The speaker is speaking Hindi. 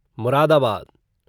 मुरादाबाद